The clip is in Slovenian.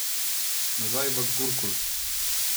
Nazaj v Gurkul.